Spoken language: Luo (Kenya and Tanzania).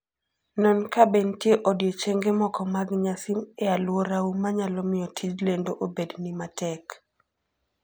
Non kabe nitie odiechienge moko mag nyasi e alworau manyalo miyo tij lendo obedni matek.